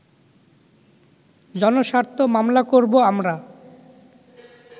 জনস্বার্থ মামলা করব আমরা